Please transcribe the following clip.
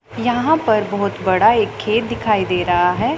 यहां पर बहुत बड़ा एक खेत दिखाई दे रहा है।